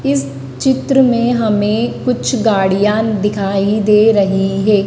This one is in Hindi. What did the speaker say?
इस चित्र में हमें कुछ गाड़ियां दिखाई दे रही है।